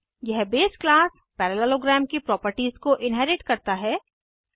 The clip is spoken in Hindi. यह बेस क्लास पैरेललोग्राम की प्रॉपर्टीज़ को इन्हेरिट करता है